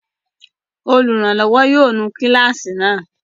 Olùrànlọ́wọ́ yóò nu kíláàsì náà!